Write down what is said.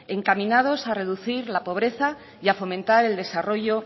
encaminados a reducir la pobreza y a fomentar el desarrollo